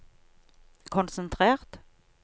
konsentrert